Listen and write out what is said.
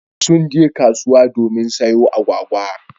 Sun je kasuwa domin sayo agwagwa.